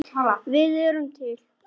Við erum til!